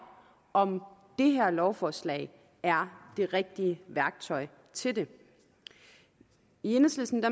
om det her lovforslag er det rigtige værktøj til det i enhedslisten